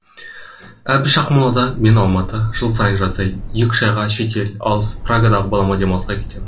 әбіш ақмолада мен алматы жыл сайын жазда екі үш айға шет ел алыс прагадағы балама демалысқа кетем